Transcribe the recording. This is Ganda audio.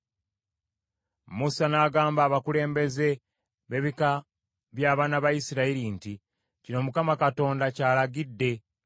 Musa n’agamba abakulembeze b’ebika by’abaana ba Isirayiri nti, “Kino Mukama Katonda ky’alagidde: